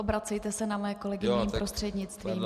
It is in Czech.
Obracejte se na mé kolegy mým prostřednictvím.